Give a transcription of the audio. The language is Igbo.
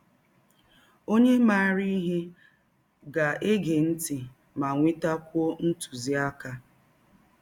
Ọnye maara ihe ga - ege ntị ma nwetakwụọ ntụziaka. ”